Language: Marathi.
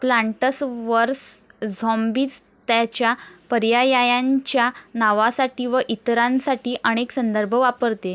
प्लांट्स वर्स झॉम्बीज त्याच्या पर्यायायांच्या नावासाठी व इतरांसाठी अनेक संदर्भ वापरते.